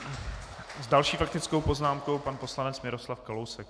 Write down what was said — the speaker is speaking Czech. S další faktickou poznámkou pan poslanec Miroslav Kalousek.